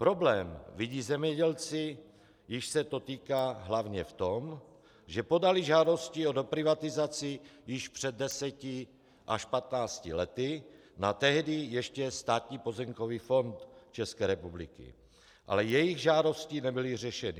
Problém vidí zemědělci, jichž se to týká, hlavně v tom, že podali žádosti o doprivatizaci již před deseti až patnácti lety na tehdy ještě Státní pozemkový fond České republiky, ale jejich žádosti nebyly řešeny.